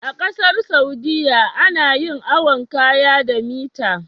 A ƙasar saudia ana yin awon kaya da mita